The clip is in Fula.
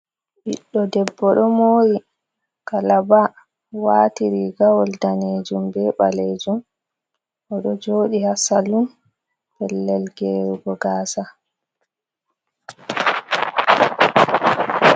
Ɓiɗɗo debbo, ɗo mori kalaba, wati rigawol danejum be balejum, oɗo joɗi ha salum, pellel gerugo gasa.